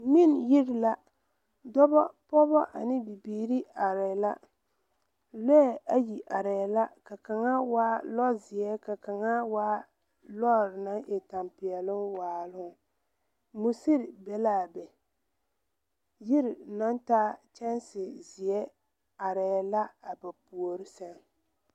Ngmen yiri la dɔbɔ, poobɔ ane bibiire areɛɛ la lɔɛ ayi areɛɛ la ka kaŋa waa lɔzeɛ ka kaŋa waa lɔɔre naŋ e tempeɛloŋ waaloŋ muserre be laa be yiri naŋ taa kyɛnse zeɛ areɛɛ la a ba puore sɛŋ .